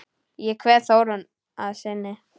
Ég kveð Þórunni að sinni.